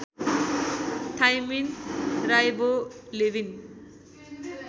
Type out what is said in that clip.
thymine राइवो Lewin